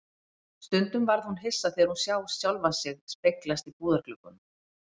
Stundum varð hún hissa þegar hún sá sjálfa sig speglast í búðargluggunum.